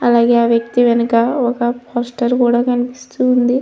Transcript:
అలాగే ఆ వేక్తి వెనక ఒక పోస్టర్ కూడా కనిపిస్తుంది.